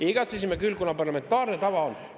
Ei, igatsesime küll, kuna parlamentaarne tava on selline.